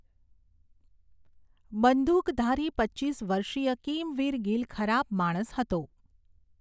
બંદૂકધારી પચીસ વર્ષીય કિમવીર ગિલ ખરાબ માણસ હતો.